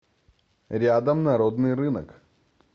рядом народный рынок